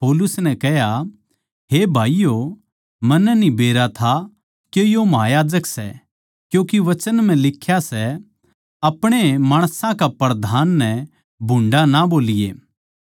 पौलुस नै कह्या हे भाईयो मन्नै न्ही बेरा था के यो महायाजक सै क्यूँके वचन म्ह लिख्या सै अपणे माणसां के प्रधान नै भुंडा ना बोलिए